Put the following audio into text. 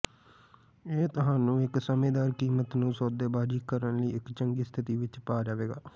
ਇਹ ਤੁਹਾਨੂੰ ਇੱਕ ਸਮਝਦਾਰ ਕੀਮਤ ਨੂੰ ਸੌਦੇਬਾਜ਼ੀ ਕਰਨ ਲਈ ਇੱਕ ਚੰਗੀ ਸਥਿਤੀ ਵਿੱਚ ਪਾ ਜਾਵੇਗਾ